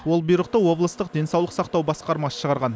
ол бұйрықты облыстық денсаулық сақтау басқармасы шығарған